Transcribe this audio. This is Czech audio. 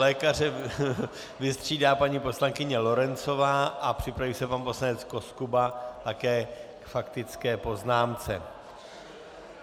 Lékaře vystřídá paní poslankyně Lorencová a připraví se pan poslanec Koskuba, také k faktické poznámce.